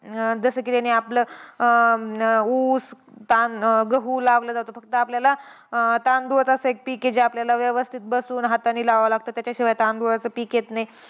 अं जसं की त्यांनी आपलं, अं ऊस, तां गहू लावला जातो. फक्त आपल्याला तांदूळच असं एक पिक आहे, जे आपल्याला व्यवस्थित बसून हातानी लावावं लागतं. त्याच्याशिवाय तांदूळाचं पिक येत नाही.